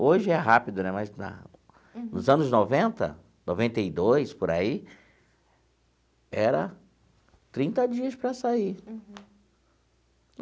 Hoje é rápido né, mas, na nos anos noventa, noventa e dois, por aí, era trinta dias para sair. Uhum.